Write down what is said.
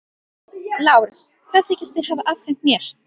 LÁRUS: Hvað þykist þér hafa afhent mér?